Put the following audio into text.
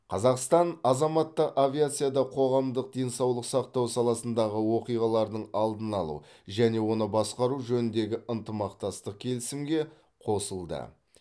қазақстан азаматтық авиацияда қоғамдық денсаулық сақтау саласындағы оқиғалардың алдын алу және оны басқару жөніндегі ынтымақтастық келісімге қосылды